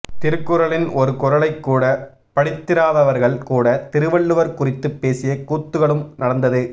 திருக்குறளின் ஒரு குறளை கூட படித்திராதவர்கள் கூட திருவள்ளுவர் குறித்து பேசிய கூத்துக்களும் நடந்தது